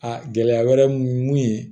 A gɛlɛya wɛrɛ mun ye mun ye